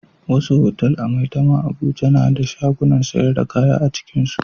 Wasu otal a Maitama Abuja na da shagunan sayar da kaya a cikinsu.